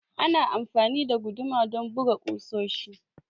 Ana amfani da guduma don buga kusoshi.